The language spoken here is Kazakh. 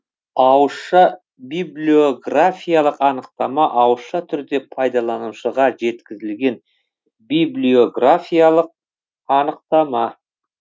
ауызша библиографиялық анықтама ауызша түрде пайдаланушыға жеткізілген библиографиялық анықтама